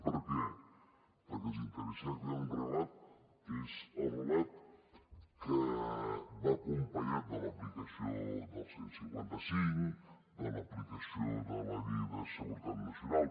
per què perquè els interessa crear un relat que és el relat que va acompanyat de l’aplicació del cent i cinquanta cinc de l’aplicació de la llei de seguretat nacional